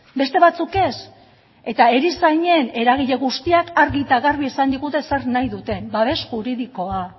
beste batzuk ez eta erizainen eragile guztiak argi eta garbi esan digute zer nahi duten babes juridikoa